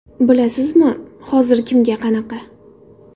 Bilasizmi, hozir kimga qanaqa?